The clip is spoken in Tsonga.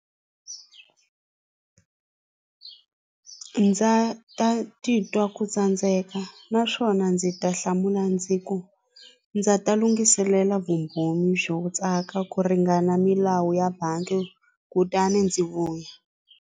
ndza ta titwa ku tsandzeka naswona ndzi ta hlamula ndzi ku ndza ta lunghiselela vumbhoni byo tsaka ku ringana milawu ya bangi kutani ndzi vuya.